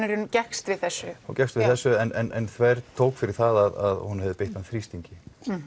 gekkst við þessu hún gekkst við þessu en þvertók fyrir það að hún hafi beitt hann þrýstingi